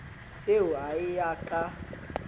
eo a e ya ka